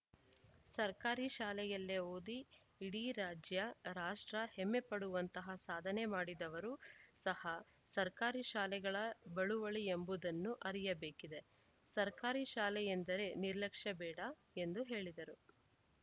ಸರ್ಕಾರಿ ಶಾಲೆಯಲ್ಲೇ ಓದಿ ಇಡೀ ರಾಜ್ಯ ರಾಷ್ಟ್ರ ಹೆಮ್ಮೆಪಡುವಂತಹ ಸಾಧನೆ ಮಾಡಿದವರು ಸಹ ಸರ್ಕಾರಿ ಶಾಲೆಗಳ ಬಳುವಳಿ ಎಂಬುದನ್ನೂ ಅರಿಯಬೇಕಿದೆ ಸರ್ಕಾರಿ ಶಾಲೆಯೆಂದರೆ ನಿರ್ಲಕ್ಷ್ಯ ಬೇಡ ಎಂದು ಹೇಳಿದರು